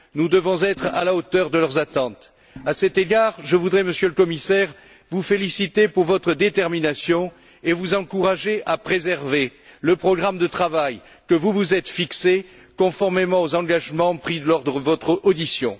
Nous devons être à la hauteur de leurs attentes. À cet égard, je voudrais, Monsieur le Commissaire, vous féliciter pour votre détermination et vous encourager à préserver le programme de travail que vous vous êtes fixé, conformément aux engagements pris lors de votre audition.